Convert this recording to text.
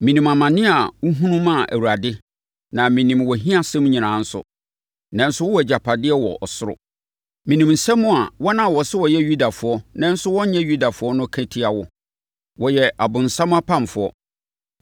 Menim amane a wohunu maa Awurade na menim wʼahiasɛm nyinaa nso, nanso wowɔ agyapadeɛ wɔ ɔsoro. Menim nsɛm a wɔn a wɔse wɔyɛ Yudafoɔ nanso wɔnyɛ Yudafoɔ no ka tia wo. Wɔyɛ ɔbonsam apamfoɔ.